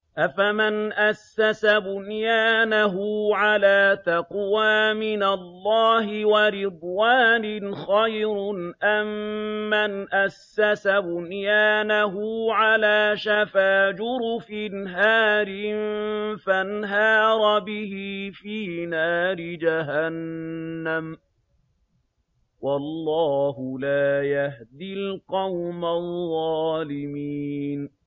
أَفَمَنْ أَسَّسَ بُنْيَانَهُ عَلَىٰ تَقْوَىٰ مِنَ اللَّهِ وَرِضْوَانٍ خَيْرٌ أَم مَّنْ أَسَّسَ بُنْيَانَهُ عَلَىٰ شَفَا جُرُفٍ هَارٍ فَانْهَارَ بِهِ فِي نَارِ جَهَنَّمَ ۗ وَاللَّهُ لَا يَهْدِي الْقَوْمَ الظَّالِمِينَ